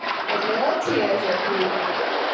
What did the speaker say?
એટલે ઓછી હશે fee